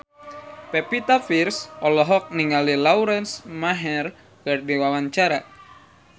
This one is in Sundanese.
Pevita Pearce olohok ningali Lauren Maher keur diwawancara